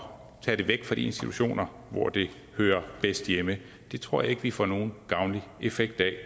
tage dem væk fra de institutioner hvor de hører bedst hjemme det tror jeg ikke vi får nogen gavnlig effekt af